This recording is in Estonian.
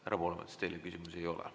Härra Poolamets, teile küsimusi ei ole.